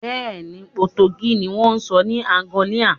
Bẹ́ẹ̀ni, Potogí ni wón ń sọ ní Àǹgọ́líà